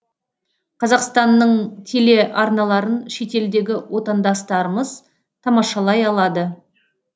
қазақстанның теле арналарын шетелдегі отандастарымыз тамашалай алады